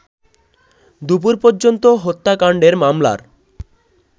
দুপুর পর্যন্ত হত্যাকাণ্ডের মামলার